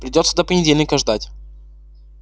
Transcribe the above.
придётся до понедельника ждать